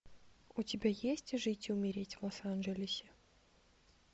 у тебя есть жить и умереть в лос анджелесе